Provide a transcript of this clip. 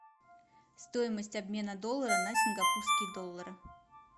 стоимость обмена доллара на сингапурские доллары